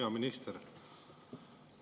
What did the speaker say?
Hea minister!